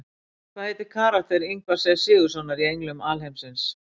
Hvað heitir karakter Ingvars E Sigurðssonar í Englum alheimsins?